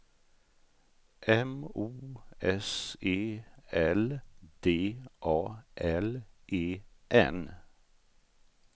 M O S E L D A L E N